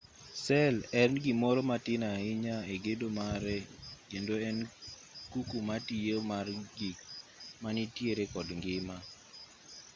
sel en gimoro matin ahinya e gedo mare kendo en kuku matiyo mar gik manitiere kod ngima